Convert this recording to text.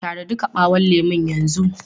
Tara duka ɓawon lemun yanzu!